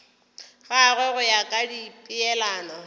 gagwe go ya ka dipeelano